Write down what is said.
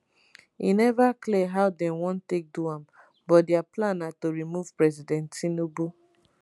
e neva clear how dem wan take do am but dia plan na to remove president tinubu.